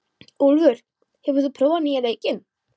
Úlfar, hefur þú prófað nýja leikinn?